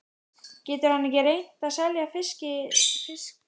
Getur hann ekki reynt að selja fiskeldisstöðina?